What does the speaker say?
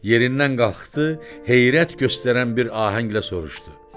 Yerindən qalxdı, heyrət göstərən bir ahənglə soruşdu.